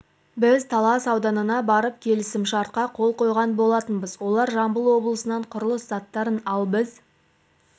біз талас ауданына барып келісімшартқа қол қойған болатынбыз олар жамбыл облысынан құрылыс заттарын ал біз